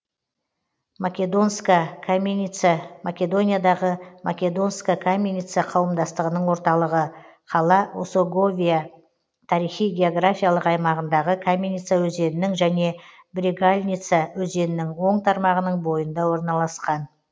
македонска каменица македониядағы македонска каменица қауымдастығының орталығы қала осоговия тарихи географиялық аймағындағы каменица өзенінің және брегалница өзенінің оң тармағының бойында орналасқан